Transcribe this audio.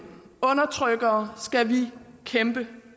undertrykkere skal vi kæmpe